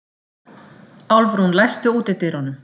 Álfrún, læstu útidyrunum.